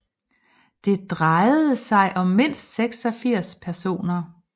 Det drejede sig om mindst 86 personer